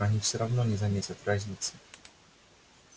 они все равно не заметят разницы